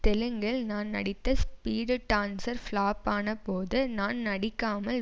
தெலுங்கில் நான் நடித்த ஸ்பீடு டான்சர் ப்ளாப் ஆன போது நான் நடிக்காமல்